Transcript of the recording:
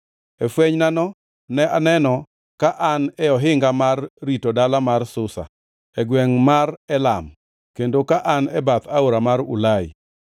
E fwenynano ne aneno ka an e ohinga mar rito dala mar Susa e gwengʼ mar Elam kendo ka an e bath aora mar Ulai.